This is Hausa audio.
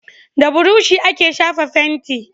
Da burushi ake shafa fenti